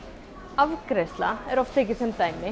afgreiðsla er oft tekin sem dæmi